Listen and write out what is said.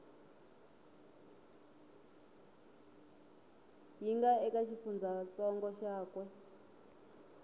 yi nga eka xifundzantsongo xakwe